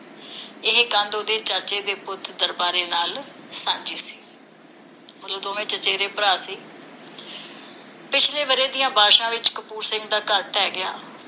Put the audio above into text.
ਇਹ ਕੰਧ ਉਹਦੇ ਚਾਚੇ ਦੇ ਪੁੱਤ ਦਰਬਾਰੇ ਨਾਲ ਸਾਂਝੀ ਸੀ । ਮਤਲਬ ਦੋਵੇਂ ਚਚੇਰੇ ਭਰਾ ਸੀ ਪਿਛਲੇ ਵਰ੍ਹੇ ਦੀਆਂ ਬਾਰਸ਼ਾਂ ਵਿਚ ਕਪੂਰ ਸਿੰਘ ਦਾ ਘਰ ਢਹਿ ਗਿਆ ਸੀ।